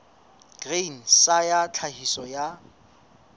grain sa ya tlhahiso ya